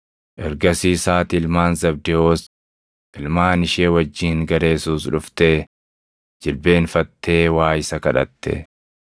Ergasiis haati ilmaan Zabdewoos ilmaan ishee wajjin gara Yesuus dhuftee jilbeenfattee waa isa kadhatte.